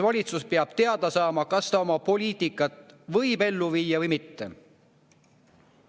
Valitsus peab teada saama, kas ta oma poliitikat võib ellu viia või mitte.